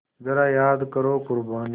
ज़रा याद करो क़ुरबानी